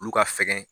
Olu ka fɛgɛn